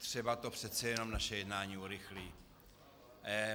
Třeba to přece jenom naše jednání urychlí.